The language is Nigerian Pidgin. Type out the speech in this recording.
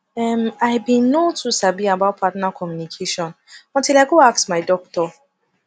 um i been no too sabi about partner communication until i go ask my doctor